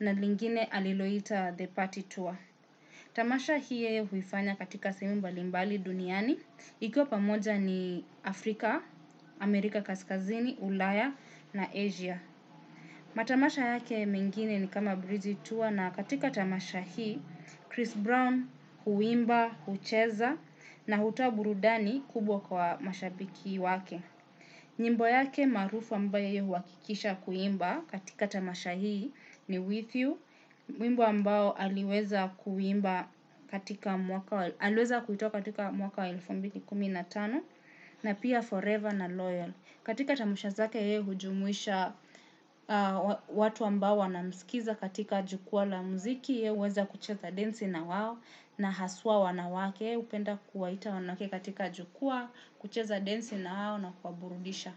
na lingine aliloita The Party Tour. Tamasha hii huifanya katika semu mbalimbali duniani. Ikiwa pamoja ni Afrika, Amerika Kaskazini, Ulayah na Asia. Matamasha yake mingine ni kama Breezy Tour na katika tamasha hii, Chris Brown huimba, ucheza na hutoa burudani kubwa kwa mashabiki wake. Nyimbo yake marufu ambaye huwakikisha kuimba katika tamasha hii ni With You, wimbo ambao aliweza kuimba katika mwaka elfu mbili na kumi na tano na pia Forever na Loyal. Katika tamasha zake ye hujumuisha watu ambawo wanamsikiza katika jukua la muziki ye uweza kucheza densi na wawo na haswa wanawake upenda kuwaita wanake katika jukua kucheza densi na wawo na kuwaburudisha.